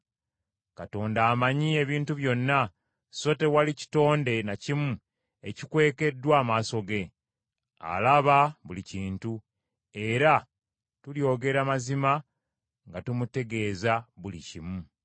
Katonda amanyi ebintu byonna, so tewali kitonde na kimu ekikwekeddwa amaaso ge. Alaba buli kintu, era tulyogera mazima nga tumutegeeza buli kimu.